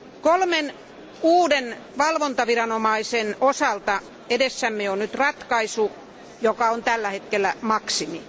Kolmen uuden valvontaviranomaisen osalta edessämme on nyt ratkaisu, joka on tällä hetkellä maksimi.